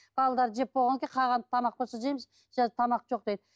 балалар жеп болғаннан кейін қалған тамақ болса жейміз тамақ жоқ дейді